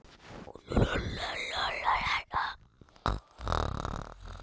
Linda Björk